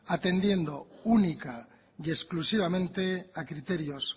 atendiendo única y exclusivamente a criterios